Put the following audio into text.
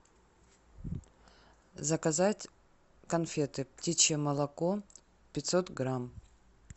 заказать конфеты птичье молоко пятьсот грамм